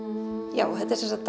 já þetta er sem sagt